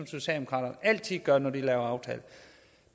socialdemokrater altid gør når vi laver aftaler